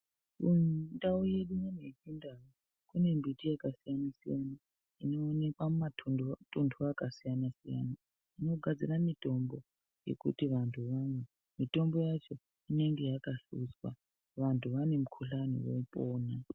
Mundau yedu unono yechindau munebiti yakasiyana siyana inoonekwa mumatundwe mumatuntu akasiyana siyana inogarzire mutombo yekuti vantu vamwe mutombo yacho inenge yakahluzwa vantu vane mukhuhlani vopona.